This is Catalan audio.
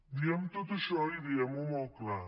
diguem tot això i diguem ho molt clar